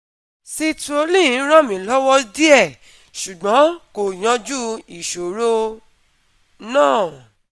Citrulline ràn mí lọ́wọ́ díẹ̀, ṣùgbọ́n kò yanjú ìṣòro náà